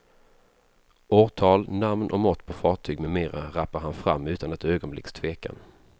Årtal, namn och mått på fartyg med mera rappar han fram utan ett ögonblicks tvekan.